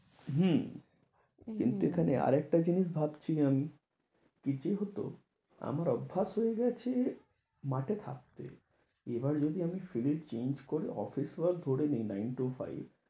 হম কিন্তু এখানে আর একটা জিনিস ভাবছি আমি কি যে হত আমার অভ্যাস হয়ে গেছে, মাঠে থাকতে এবার যদি আমি field change করে অফিস work ধরে নিই nine to five